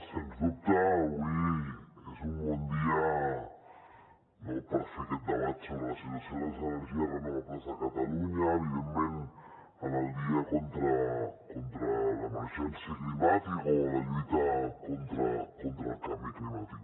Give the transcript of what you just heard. sens dubte avui és un bon dia per fer aquest debat sobre la situació de les energies renovables a catalunya evidentment en el dia contra l’emergència climàtica o de la lluita contra el canvi climàtic